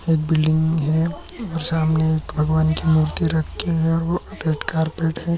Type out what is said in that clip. एक बिल्डिंग है और सामने भगवान की मूर्ति रखी है और ओ रेड कार्पेट है।